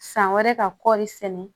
San wɛrɛ ka kɔri sɛnɛ